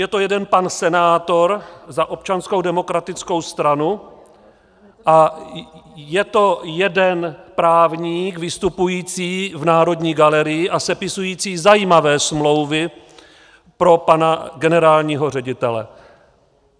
Je to jeden pan senátor za Občanskou demokratickou stranu a je to jeden právník vystupující v Národní galerii a sepisující zajímavé smlouvy pro pana generálního ředitele.